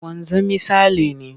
Wanzami Sale ne.